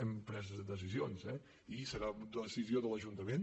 hem pres decisions eh i serà decisió de l’ajunta·ment